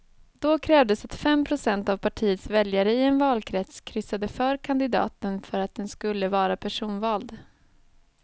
Då krävdes att fem procent av partiets väljare i en valkrets kryssade för kandidaten för att den skulle vara personvald.